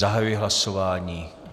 Zahajuji hlasování.